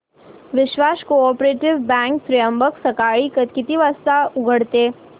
विश्वास cooperative bank Trimbak सकाळी किती वाजता उघडते